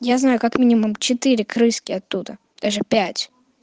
я знаю как минимум четыре крыски оттуда даже пять